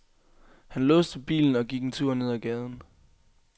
Han låste bilen og gik en tur ned ad gaden.